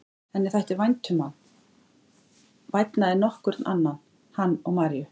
Henni þætti vænt um hann, vænna en nokkurn annan, hann og Maríu.